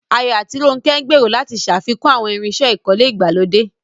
Ayo àti Ronke gbèrò láti ṣàfikún àwọn irinṣẹ́ ìkọ́lé ìgbàlódé